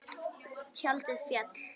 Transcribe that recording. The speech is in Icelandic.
Tjaldið féll.